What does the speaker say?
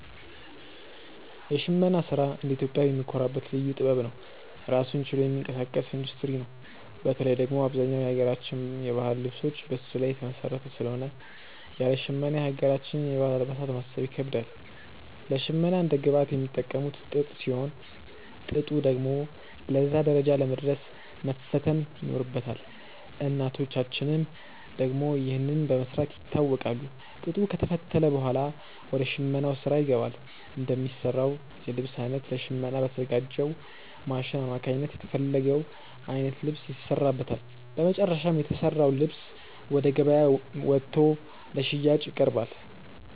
የሽመና ስራ እንደ ኢትዮጵያዊ የምንኮራበት ልዩ ጥበብ ነው። ራሱን ችሎ የሚንቀሳቀስ ኢንዱስትሪ ነው። በተለይ ደግሞ አብዛኛው የሀገራችን የባህል ልብሶች በሱ ላይ የተመሰረተ ስለሆነ ያለ ሽመና የሀገራችንን የባህል አልባሳት ማሰብ ይከብዳል። ለሽመና እንደ ግብአት የሚጠቀሙት ጥጥ ሲሆን፣ ጥጡ ደግሞ ለዛ ደረጃ ለመድረስ መፈተል ይኖርበታል። እናቶቻችን ደግሞ ይህንን በመስራት ይታወቃሉ። ጥጡ ከተፈተለ ብኋላ ወደ ሽመናው ስራ ይገባል። እንደሚሰራው የልብስ አይነት ለሽመና በተዘጋጅው ማሽን አማካኝነት የተፈለገው አይነት ልብስ ይሰራበታል። በመጨረሻም የተሰራው ልብስ ወደ ገበያ ወጥቶ ለሽያጭ ይቀርባል።